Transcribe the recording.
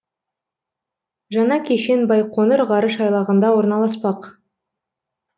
жаңа кешен байқоңыр ғарыш айлағында орналаспақ